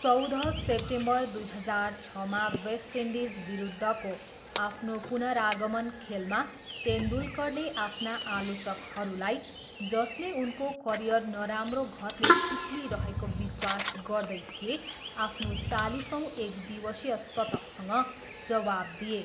चौध सेप्टेम्बर दुई हजार छमा वेस्ट इन्डिज विरुद्धको आफ्नो पुनरागमन खेलमा तेन्दुलकरले आफ्ना आलोचकहरूलाई, जसले उनको करियर नराम्रो घतले चिप्लिरहेको विश्वास गर्दै थिए, आफ्नो चालिसौँ एकदिवसीय शतकसँग जवाब दिए।